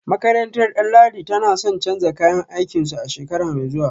Makarantar Danladi tana son canza kayan aikinsu a shekara mai zuwa